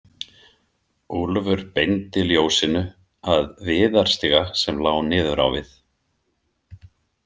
Úlfur beindi ljósinu að viðarstiga sem lá niður á við.